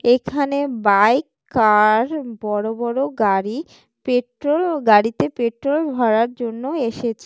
এখানে bike car বড় বড় গাড়ি পেট্রোল ও গাড়িতে পেট্রোল ভরার জন্য এসেছে।